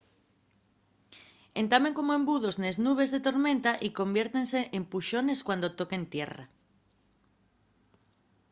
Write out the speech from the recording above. entamen como embudos nes nubes de tormenta y conviértense en puxones” cuando toquen tierra